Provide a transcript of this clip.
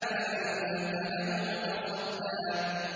فَأَنتَ لَهُ تَصَدَّىٰ